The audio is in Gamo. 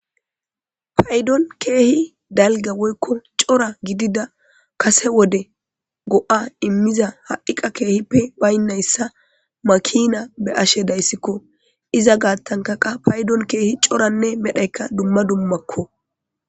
paydon keehi dalga woykko cora gidida kase wode go7a immiza ha7iqa keehippe baynnayssa makina be ashe dayssikko iza gaattanka qa paydon keehi coranne medhayka dumma dummakko